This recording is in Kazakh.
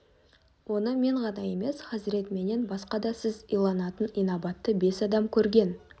оны мен ғана емес хазірет менен басқа да сіз иланатын инабатты бес адам көрген